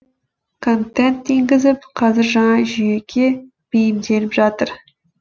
контент енгізіп қазір жаңа жүйеге бейімделіп жатыр